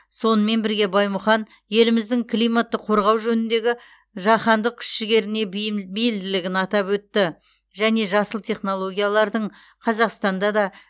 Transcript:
сонымен бірге баймұхан еліміздің климатты қорғау жөніндегі жаһандық күш жігеріне бейілдігін атап өтті және жасыл технологиялардың қазақстанда да